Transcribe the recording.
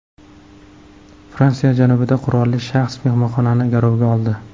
Fransiya janubida qurolli shaxs mehmonxonani garovga oldi.